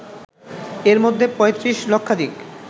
এর মধ্যে ৩৫ লক্ষাধিক